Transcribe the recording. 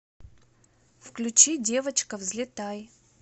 включи девочка взлетай